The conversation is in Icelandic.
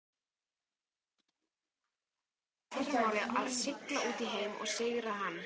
Ungur maður ætlar í fyrramálið að sigla út í heim og sigra hann.